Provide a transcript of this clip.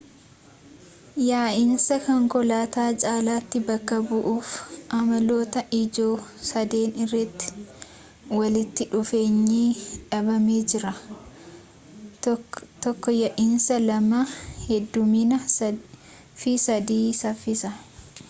yaa'insa konkolaataa caalaatti bakka bu'uuf amaloota ijoo sadeen irratti walitti dhuufeenyi dhaabamee jira: 1 ya'iinsa 2 heddumminaa fi 3 saffisa